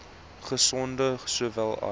gesonde sowel as